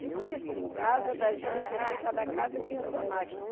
Difícil, em casa da gente, assim, cada casa tinha a sua máquina.